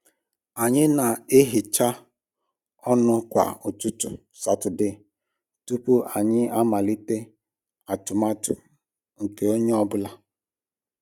Anyị na-ehicha ọnụ kwa ụtụtụ Satọde tupu anyị amalite atụmatụ nke onye ọ bụla